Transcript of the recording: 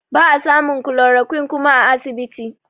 Ba a samun chloroquine kuma a asibiti